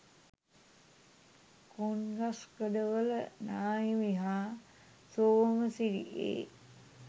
කෝන්ගස්කඩවල නාහිමි හා සෝමසිරි ඒ.